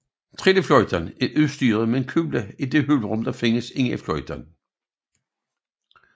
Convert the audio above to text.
Trillefløjten er udstyret med en kugle i det hulrum der findes inde i fløjten